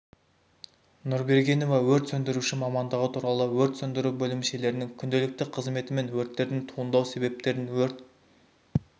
нұрбергенова өрт сөндіруші мамандығы туралы өрт сөндіру бөлімшелерінің күнделікті қызметі мен өрттердің туындау себептерін өрт